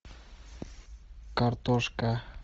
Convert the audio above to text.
картошка